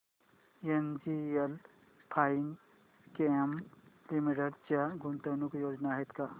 NGL Finechem limited च्या गुंतवणूक योजना आहेत का